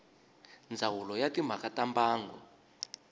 ndzawulo ya timhaka ta mbango